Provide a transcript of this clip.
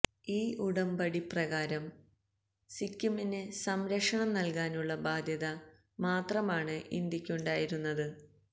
ഈ ഉടമ്പടി പ്രകാരം സിക്കിമിന് സംരക്ഷണം നൽകാനുള്ള ബാധ്യത മാത്രമാണ് ഇന്ത്യയ്ക്കുണ്ടായിരുന്നത്